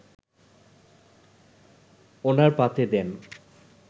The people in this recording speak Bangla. ওনার পাতে দেন